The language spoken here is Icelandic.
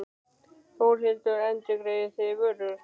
Þórhildur: Endurgreiðið þið vörur?